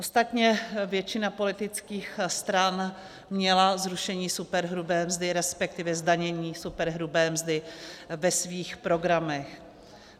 Ostatně většina politických stran měna zrušení superhrubé mzdy, respektive zdanění superhrubé mzdy ve svých programech.